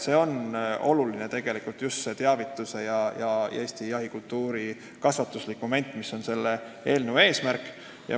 See on oluline, just see Eesti jahikultuurist teavitamine ja kasvatuslik moment, mis on selle eelnõu eesmärk.